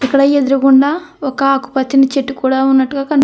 ఇక్కడ ఎదురుకుండా ఒక ఆకు పచ్చని చెట్టు కూడా ఉన్నట్టుగా కనిపి --